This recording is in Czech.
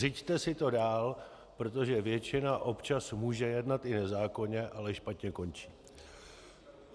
Řiďte si to dál, protože většina občas může jednat i nezákonně, ale špatně končí.